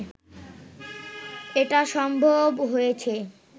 এটা সম্ভব হয়েছে